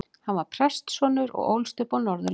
Hann var prestssonur og ólst upp á Norðurlandi.